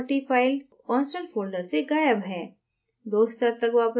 transport property file constant folder से गायब है